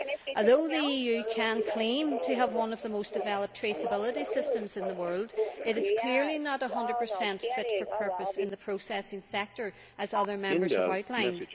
Although the EU can claim to have one of the most developed traceability systems in the world, it is clearly not 100 fit for purpose in the processing sector, as other Members have outlined.